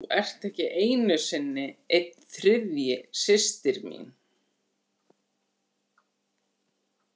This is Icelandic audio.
þú ert ekki einu sinni einn þriðji systir mín.